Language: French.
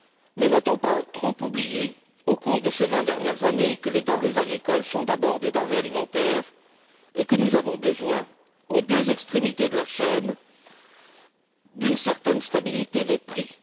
Mais n'a t on pas trop oublié, au cours de ces vingt dernières années, que les denrées agricoles sont d'abord des denrées alimentaires et que nous avons besoin, aux deux extrémités de la chaîne, d'une certaine stabilité des prix?